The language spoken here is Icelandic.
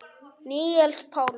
Níels Pálmi.